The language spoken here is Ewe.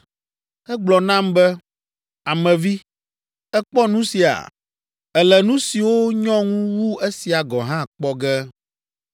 Egblɔ nam be, “Ame vi, èkpɔ nu sia? Èle nu siwo nyɔ ŋu wu esia gɔ̃ hã kpɔ ge.”